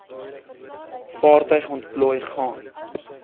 vaartuig ontplooi gaan